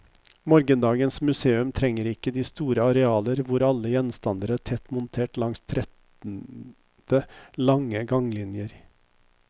Morgendagens museum trenger ikke de store arealer hvor alle gjenstander er tett montert langs trettende lange ganglinjer.